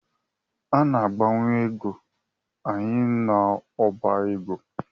A na-agbanwe ego anyị n’ọba ego